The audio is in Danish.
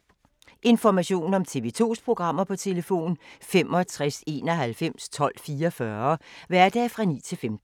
Information om TV 2's programmer: 65 91 12 44, hverdage 9-15.